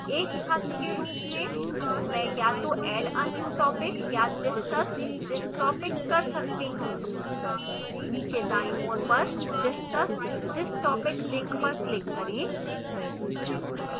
एक छात्र के रूप में मैं या तो add a new topic या discuss this topic कर सकती हूँ नीचे दाईं ओर पर discuss this topic link पर click करें